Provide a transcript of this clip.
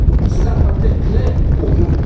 Cela doit être clair pour nous.